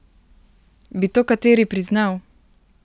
Bi to kateri priznal?